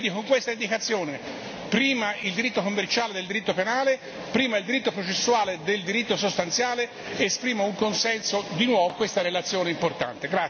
Quindi, con questa indicazione prima il diritto commerciale del diritto penale, prima il diritto processuale del diritto sostanziale esprimo di nuovo un consenso a questa relazione importante.